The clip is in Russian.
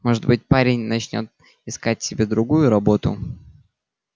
может быть парень начнёт искать себе другую работу